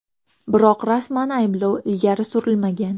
Biroq rasman ayblov ilgari surilmagan.